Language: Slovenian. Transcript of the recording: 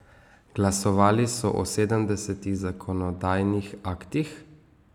Glasovali so o sedemdesetih zakonodajnih aktih.